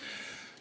Aitäh!